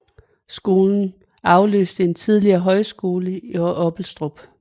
Skolen afløste en tidligere højskole i Oppelstrup